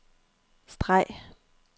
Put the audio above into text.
streg